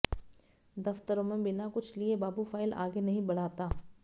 दफ्तरों में बिना कुछ लिए बाबू फाइल आगे नहीं बढ़ाता